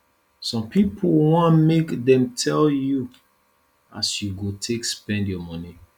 some pipo wan make dem tell you as you go take spend your moni